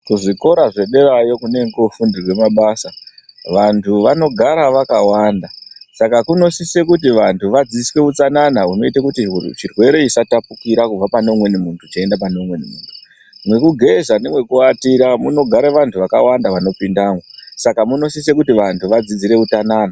Kuzvikora zvederayo kunenge koofundirwe mabasa, vantu vanogara vakawanda, saka kunosise kuti, vantu vadzidziswe utsanana hunoite kuti chirwere chisatapukira kubva pane umweni muntu cheienda pane umweni muntu. Mwekugeza nemwekuatira munogare vantu vakawanda vanopindamwo, saka munosise kuti vantu vadzidziswe utsanana.